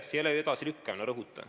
See ei ole edasilükkamine, rõhutan.